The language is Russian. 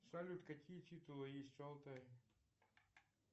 салют какие титулы есть у алтая